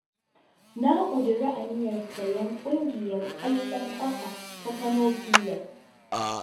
Na ƙudiri aniyar sayen ƙungiyar ƙwallon ƙafa ta Kano Pilas.